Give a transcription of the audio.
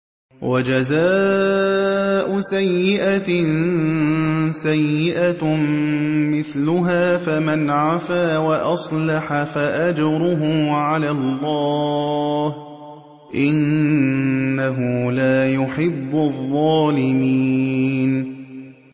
وَجَزَاءُ سَيِّئَةٍ سَيِّئَةٌ مِّثْلُهَا ۖ فَمَنْ عَفَا وَأَصْلَحَ فَأَجْرُهُ عَلَى اللَّهِ ۚ إِنَّهُ لَا يُحِبُّ الظَّالِمِينَ